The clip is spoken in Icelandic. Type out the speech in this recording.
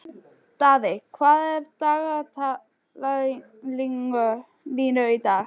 Daðey, hvað er í dagatalinu í dag?